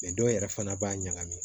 dɔw yɛrɛ fana b'a ɲagami